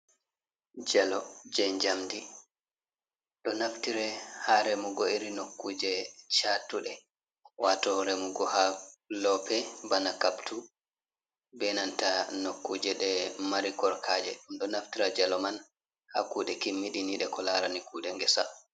Jalo je jamdi ɗo naftire haa remugo iri nokkuje chatuɗe wato remugo haa lope bana kaptu benanta nokkuje ɗe mari korka'e. Ɗum ɗo naftira jalo man haa kuɗe kimmini ɗe ko larani kuɗe ngesa.